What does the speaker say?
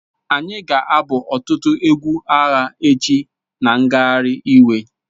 Anyị ga-abụ ọtụtụ egwu agha echi na ngagharị iwe